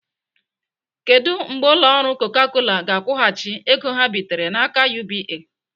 Kedụ mgbe ụlọ ọrụ Coca Cola ga-akwụghachi ego ha bitere n'aka UBA?